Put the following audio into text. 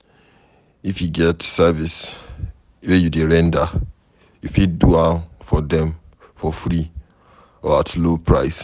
if e get service wey you dey render, you fit do am for dem for free or at low price